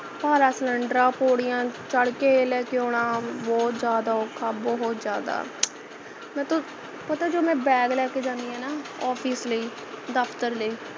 ਭਾਰਾ cylinder ਹਾ ਪੌੜੀਆਂ ਚੋ ਛੱਡ ਕੇ ਲੈਕੇ ਆਉਣਾ ਬਹੁਤ ਜ਼ਿਆਦਾ ਔਖਾ ਹੈ ਬਹੁਤ ਜ਼ਿਆਦਾ ਮੈਂ ਤੋਂ ਪਤਾ ਹੈ ਜਦੋ ਮੈਂ bag ਜਾਣੀ ਹੈ ਨਾ office ਲਈ ਦਫਤਰ ਲਈ